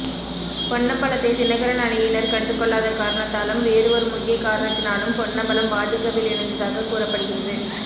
பொன்னம்பலத்தை தினகரன் அணியினர் கண்டுகொள்ளாத காரணத்தாலும் வேறு ஒரு முக்கிய காரணத்தினாலும் பொன்னம்பலம் பாஜகவில் இணைந்ததாக கூறப்படுகிறது